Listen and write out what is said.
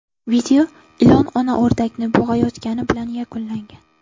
Video ilon ona o‘rdakni bo‘g‘ayotgani bilan yakunlangan.